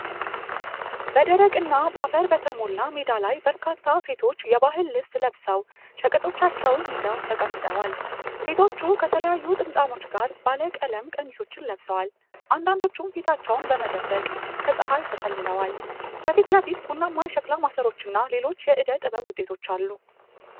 በደረቅና በአፈር በተሞላ ሜዳ ላይ በርካታ ሴቶች የባህል ልብስ ለብሰው ሸቀጦቻቸውን ይዘው ተቀምጠዋል። ሴቶቹ ከተለያዩ ጥምጣሞች ጋር ባለቀለም ቀሚሶችን ለብሰዋል፤ አንዳንዶቹም ፊታቸውን በመደበቅ ከፀሐይ ተጠልለዋል። ከፊት ለፊት ቡናማ የሸክላ ማሰሮዎችና ሌሎች የእደ ጥበብ ውጤቶች አሉ።